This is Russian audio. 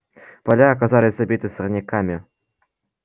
поля оказались забиты сорняками